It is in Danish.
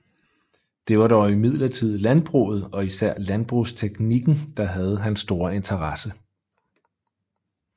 Det var dog imidlertid landbruget og især landbrugsteknikken der havde hans store interesse